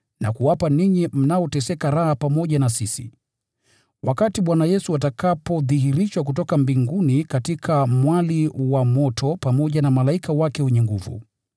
na kuwapa ninyi mnaoteseka raha pamoja na sisi, wakati Bwana Yesu atakapodhihirishwa kutoka mbinguni katika mwali wa moto pamoja na malaika wake wenye nguvu.